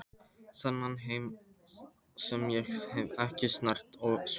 Þennan heim sem ég hef ekki snert svo lengi.